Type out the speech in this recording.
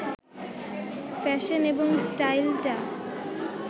fashion এবং স্টাইলটা